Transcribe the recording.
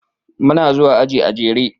Muna zuwa aji a jere.